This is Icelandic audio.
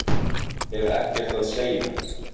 Hef ekkert að segja